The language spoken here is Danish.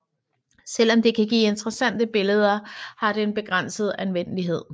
Selvom det kan give interessante billeder har det en begrænset anvendelighed